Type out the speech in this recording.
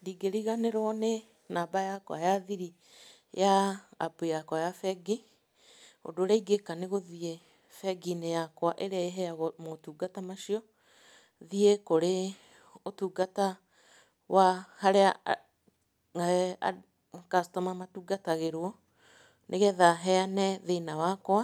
Ndingĩriganĩrwo nĩ namba yakwa ya thiri ya App yakwa ya bengi, ũndũ ũrĩa ingĩka nĩ gũthiĩ bengi-inĩ yakwa ĩrĩa ĩheyaga motungata macio, thiĩ kũrĩ ũtungata wa harĩa customer matungatagĩrwo, nĩgetha heyane thĩna wakwa,